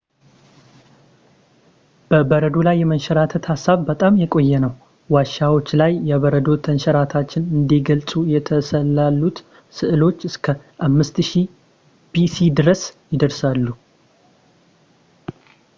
በበረዶ ላይ የመንሸራተት ሐሳብ በጣም የቆየ ነው ዋሻዎች ላይ የበረዶ ተንሸራታቾችን እንዲገልጹ የተሰሳሉት ስዕሎች እስከ 5000ቢሲ ድረስ ይደርሳሉ